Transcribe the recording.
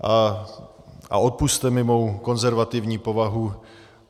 A odpusťte mi mou konzervativní povahu.